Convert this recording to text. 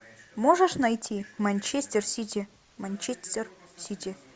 можешь найти манчестер сити манчестер сити